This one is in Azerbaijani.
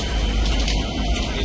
Dayan, dayan, dayan.